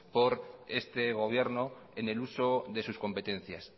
por este gobierno en el uso de sus competencias